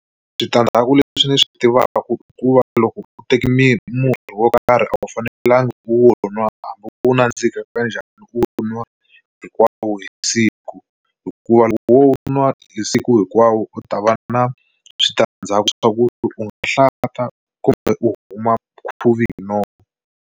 Switandzhaku leswi ndzi swi tivaka i ku va loko u teke murhi wo karhi a wu fanelanga u nwa hambi u nandzika ka njhani u nwa hinkwawo hi siku hikuva loko wo nwa hi siku hinkwawo u ta va na switandzhaku swa ku u nga hlanta kumbe u huma khuvi hi nomo.